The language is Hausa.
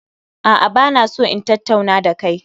A'a, ba na so in tattauna da kai